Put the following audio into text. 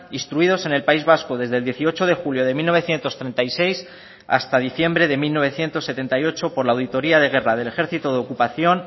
instruidos en el país vasco desde el dieciocho de julio de mil novecientos treinta y seis hasta diciembre de mil novecientos setenta y ocho por la auditoría de guerra del ejército de ocupación